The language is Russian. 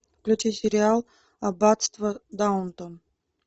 включи сериал аббатство даунтон